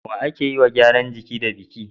wa ake yiwa gyaran jiki da biki